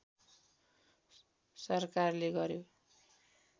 सरकारले गर्‍यो